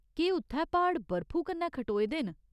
केह् उत्थै प्हाड़ बरफू कन्नै खटोए दे न ?